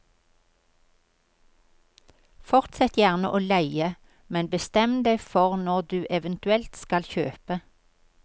Fortsett gjerne å leie, men bestem deg for når du eventuelt skal kjøpe.